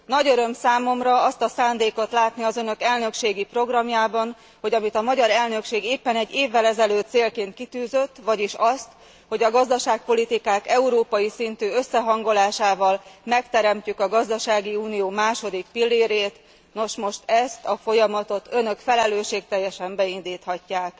Nagy öröm számomra azt a szándékot látni az önök elnökségi programjában, hogy amit a magyar elnökség éppen egy évvel ezelőtt célként kitűzött, vagyis azt, hogy a gazdaságpolitikák európai szintű összehangolásával megteremtjük a gazdasági unió második pillérét, nos, most ezt a folyamatot önök felelősségteljesen beindíthatják.